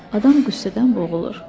Adam qüssədən boğulur.